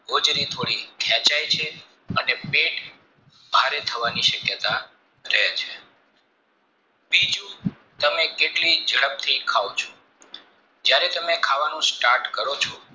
હોજરી થોડી ખેંચાય છે અને પેટ ભારે થવાની શક્યતા રહે છે બીજું તમે કેટલી ઝડપથી ખાવ છોજયારે તમે ખાવાનું start કરો છો